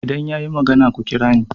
idan ya yi magana ku kira ni